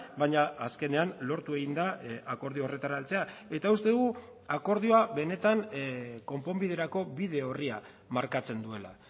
baina azkenean lortu egin da akordio horretara heltzea eta uste dugu akordioa benetan konponbiderako bide orria markatzen duela